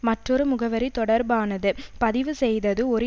மற்றொரு முகவரி தொடர்பானது பதிவு செய்தது ஒரு